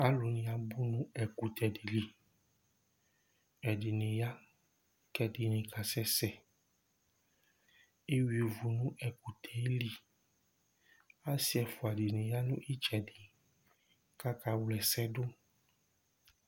Alʋ ni abʋ nʋ ɛkʋtɛ di li Ɛdiní ya kʋ ɛdiní kasɛsɛ Eyʋa ivu nʋ ɛkʋtɛ li Asi ɛfʋa di ya nʋ itsɛdi kʋ akawla ɛsɛ du